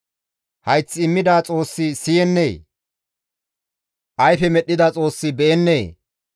Hayth immida Xoossi siyennee? Ayfe medhdhida Xoossi be7ennee?